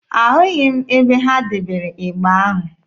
Ahụghị m ebe ha debere ịgba ahụ.